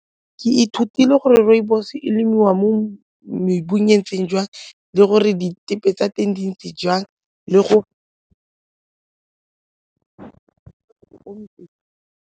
Ke ithutile gore rooibos e lemiwa mo mebileng e ntseng jang le gore tsa teng di ntse jang le go .